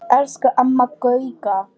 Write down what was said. Elsku Amma Gauja.